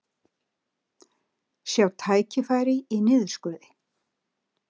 Sjá tækifæri í niðurskurði